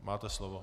Máte slovo.